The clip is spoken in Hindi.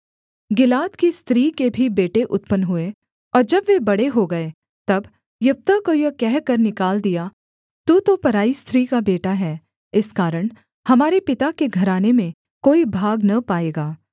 गिलाद की स्त्री के भी बेटे उत्पन्न हुए और जब वे बड़े हो गए तब यिप्तह को यह कहकर निकाल दिया तू तो पराई स्त्री का बेटा है इस कारण हमारे पिता के घराने में कोई भाग न पाएगा